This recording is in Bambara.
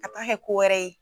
A m'a kɛ ko wɛrɛ ye.